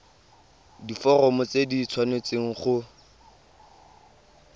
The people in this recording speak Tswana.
diforomo tse di tshwanesteng go